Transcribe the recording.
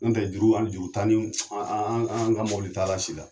N dɛ juru juru t'an ni an an an ka mɔbili ta la si la.